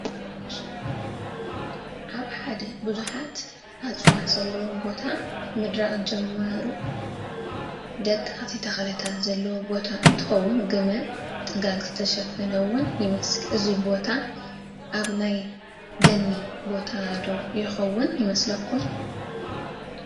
ኣብ ሓደ ብዙሓት እፀዋት ዘለውዎ ቦታ ምድራቕ ዝጀመሩ ደቐቕቲ ተኽልታት ዘለዎ ቦታ እንትኸውን ግመ/ጥጋግ ዝተሸፈነ ውን ይመስል፡፡ እዚ ቦታ ኣብ ናይ ደኒ ቦታ ዶ ይኸውን ትብልዎ?